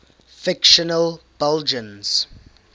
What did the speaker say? fictional belgians